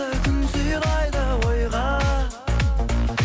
күн сыйлайды ойға